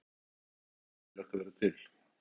Það væri svo voðalega leiðinlegt að vera til.